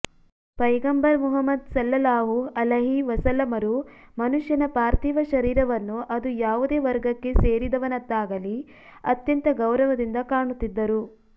ಪೈಗಂಬರ್ Muhammad ಸಲ್ಲಲ್ಲಾಹು ಅಲೈಹಿ ವಸಲ್ಲಮರು ಮನುಷ್ಯನ ಪಾರ್ಥಿವ ಶರೀರವನ್ನು ಅದು ಯಾವುದೇ ವರ್ಗಕ್ಕೆ ಸೇರಿದವನದ್ದಾಗಲಿ ಅತ್ಯಂತ ಗೌರವದಿಂದ ಕಾಣುತ್ತಿದ್ದರು